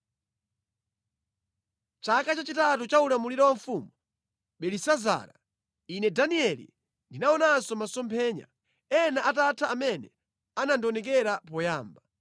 Chaka chachitatu cha ulamuliro wa mfumu Belisazara, Ine Danieli, ndinaonanso masomphenya, ena atatha amene anandionekera poyamba.